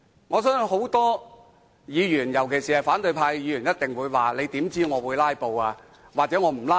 我相信很多議員，尤其是反對派議員一定會說："你又如何得知我會'拉布'呢？